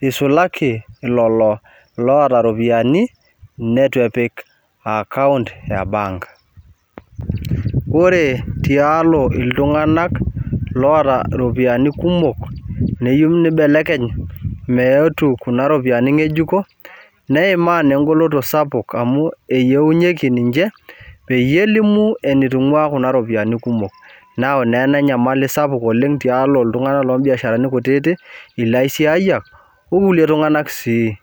isulaki lolo loota iropiyiani neitu epik account ebank . Ore tialo iltunganak loota iropiyiani kumok neyieu nibelekeny meetu kuna ropiyiani ngekujuko neimaa naa engoloto sapuk amu eyieunyieki ninche peyie elimu etitungwaa kuna ropiyiani kumok neyau naa ena enyamali sapuk tialo iltunganak lombiasharani kutitik , ilaisiayiak okulie tunganak sii.